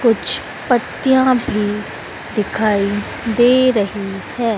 कुछ पत्तियां भी दिखाई दे रही है।